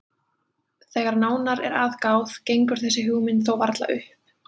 Þegar nánar er að gáð gengur þessi hugmynd þó varla upp.